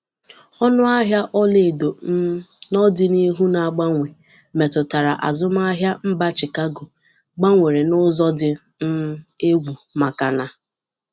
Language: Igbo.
ọnụ ahịa olaedo um n'ọdinihu na mgbanwe metụtara azụmahịa mba Chicago gbanwere n'ụzọ dị um egwu maka na...